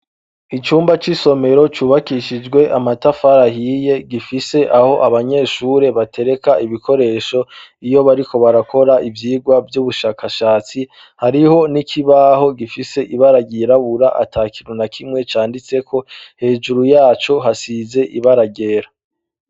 Icumba c'isomero cubakishijwe amatafari ahiye, gifise aho abanyeshure batereka ibikoresho iyo bariko barakora ivyigwa vy'ubushakashatsi, hariho n'ikibaho gifise ibara ryirabura ata kintu na kimwe canditseko, hejuru yaco hasize ibara ryera.